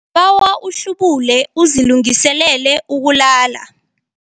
Ngibawa uhlubule uzilungiselele ukulala.